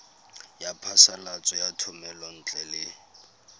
ya phasalatso ya thomelontle le